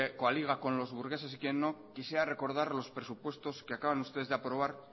coaliga con los burgueses y quién no quisiera recordar los presupuestos que acaban ustedes de aprobar